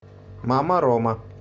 мама рома